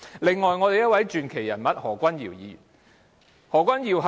此外，另一位傳奇人物是何君堯議員。